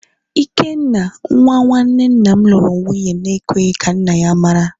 Ikenna, nwa nwanne nna m luru nwunye na-ekweghi ka nna ya mara